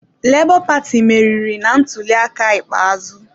Lebo paati meriri na ntuliaka ikpeazụ.